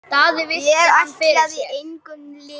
Ég ætlaði engum illt.